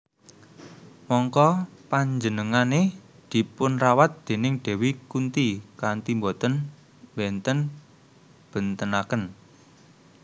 Mangka penjenengane dipunrawat déning Dewi Kunti kanthi boten mbenten bentenaken